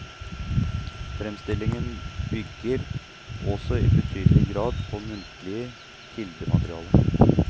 Framstillingen bygger også i betydelig grad på muntlig kildemateriale.